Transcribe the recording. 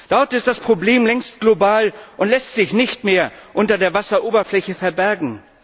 Dort ist das Problem längst global und lässt sich nicht mehr unter der Wasseroberfläche verbergen.